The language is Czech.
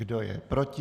Kdo je proti?